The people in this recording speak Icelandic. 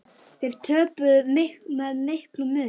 Þeir töpuðu með miklum mun.